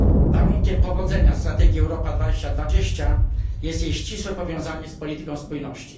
Warunkiem powodzenia strategii Europa 2020 jest jej ścisłe powiązanie z polityką spójności.